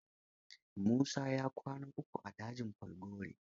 Musa ya kwana uku a dajin Falgore.